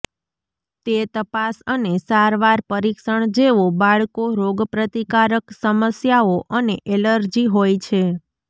તે તપાસ અને સારવાર પરીક્ષણ જેઓ બાળકો રોગપ્રતિકારક સમસ્યાઓ અને એલર્જી હોય છે